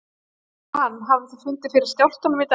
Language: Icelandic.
Jóhann hafið þið fundið fyrir skjálftum í dag?